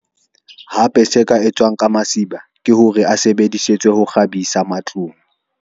Hape se ka etswang ka masiba ke hore a sebedisetswe ho kgabisa matlong.